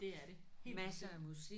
Det er det. Helt bestemt